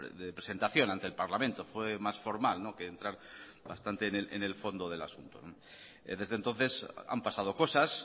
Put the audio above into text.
de presentación ante el parlamento fue más formal que entrar bastante en el fondo del asunto desde entonces han pasado cosas